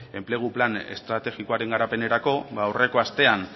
enplegu plan estrategikoaren garapenerako ba aurreko astean